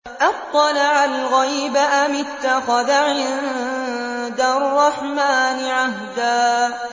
أَطَّلَعَ الْغَيْبَ أَمِ اتَّخَذَ عِندَ الرَّحْمَٰنِ عَهْدًا